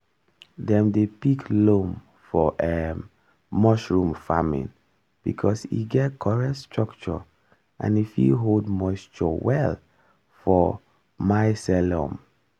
dem dey pick loam for um mushroom farming because e get correct structure and e fit hold moisture well for mycelium.